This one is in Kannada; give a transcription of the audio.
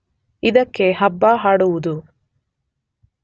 ಇದಕ್ಕೆ ಹಬ್ಬ ಹಾಡುವುದು